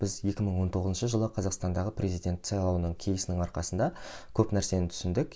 біз екі мың он тоғызыншы жылы қазақстандағы президент сайлауының келісінің арқасында көп нәрсені түсіндік